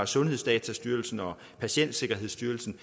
sundhedsdatastyrelsen og patientsikkerhedsstyrelsen